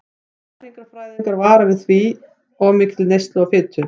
Næringarfræðingar vara því við of mikilli neyslu á fitu.